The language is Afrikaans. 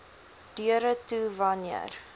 deure toe wanneer